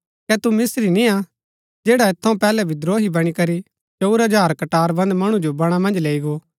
कै तु मिस्त्री निय्आ जैडा ऐत थऊँ पैहलै विद्रोही बणी करी चंऊर हजार कटारबन्द मणु जो बणा मन्ज लैई गो